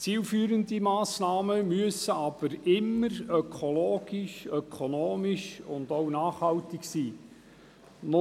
Zielführende Massnahmen müssen jedoch immer ökologisch und ökonomisch nachhaltig sein.